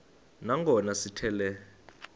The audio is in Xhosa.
nangona sithi le